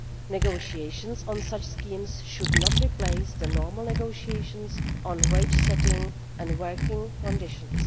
Negotiations on such schemes should not replace the normal negotiations on wage setting and working conditions.